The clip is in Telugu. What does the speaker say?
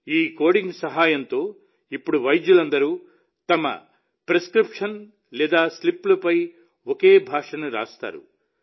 ఈ కోడింగ్ సహాయంతో ఇప్పుడు వైద్యులందరూ తమ ప్రిస్క్రిప్షన్లు లేదా స్లిప్పులపై ఒకే భాషను రాస్తారు